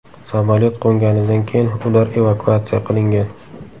Samolyot qo‘nganidan keyin ular evakuatsiya qilingan.